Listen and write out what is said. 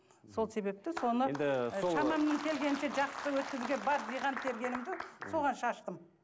сол себепті соны енді келгенінше жақсы өткізуге бар жиған тергенімді соған шаштым